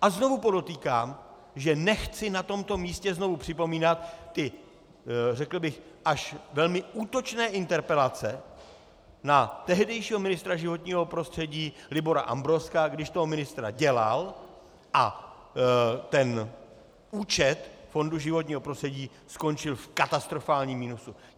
A znovu podotýkám, že nechci na tomto místě znovu připomínat ty řekl bych až velmi útočné interpelace na tehdejšího ministra životního prostředí Libora Ambrozka, když toho ministra dělal a ten účet Fondu životního prostředí skončil v katastrofálním minusu.